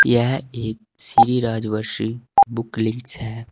यह एक Shri Rajvarshi book links है।